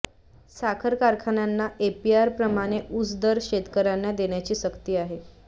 साखर कारखान्यांना एफआरपीप्रमाणे ऊस दर शेतकर्यांना देण्याची सक्ती आहे